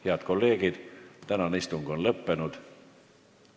Head kolleegid, tänane istung on lõppenud.